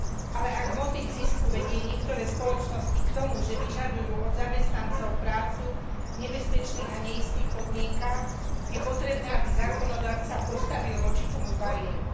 Ale ak motív zisku vedie niektoré spoločnosti k tomu, že vyžadujú od zamestnancov prácu v nebezpečných a neistých podmienkach, je potrebné, aby zákonodarca postavil voči tomu bariéry.